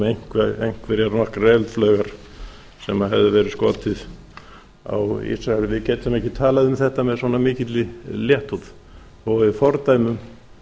um einhverjar nokkrar eldflaugar sem hefði verið skotið á ísrael við getum ekki talað um þetta með svona mikilli léttúð þó að við fordæmum